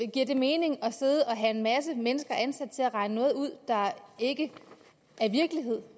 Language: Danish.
giver det mening at have en masse mennesker ansat til at regne noget ud der ikke er virkelighed og